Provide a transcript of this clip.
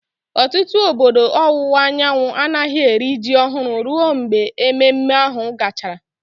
Ọtụtụ obodo ọwụwa anyanwụ anaghị eri ji ọhụrụ ruo mgbe ememme ahụ gachara.